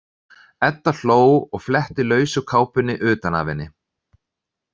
Edda hló og fletti lausu kápunni utan af henni.